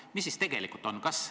Kuidas siis tegelikult on?